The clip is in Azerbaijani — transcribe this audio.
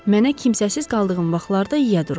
Mənə kimsəsiz qaldığım vaxtlarda yiyə durub.